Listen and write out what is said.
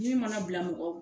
Min mana bila mɔgɔ